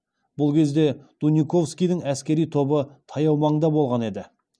бұл кезде дуниковскийдің әскери тобы таяу манда болған еді